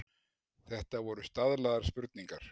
Þetta voru staðlaðar spurningar.